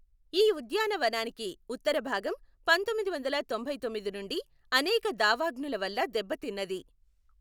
ఈ ఉద్యానవనానికి ఉత్తర భాగం పంతొమ్మిది వందల తొంభైతొమ్మిది నుండి అనేక దావాగ్నుల వల్ల దెబ్బతిన్నది.